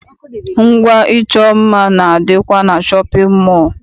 Ngwa ịchọ mma na- adịkwa na shọpịn mọọ.